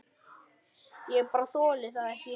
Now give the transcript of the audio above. Ég bara þoli það ekki.